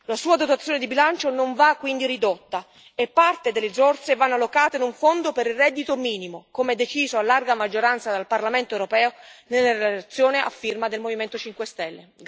La sua dotazione di bilancio non va quindi ridotta e parte delle risorse vanno allocate in un fondo per il reddito minimo, come deciso a larga maggioranza dal Parlamento europeo nella relazione a firma del Movimento Cinque Stelle.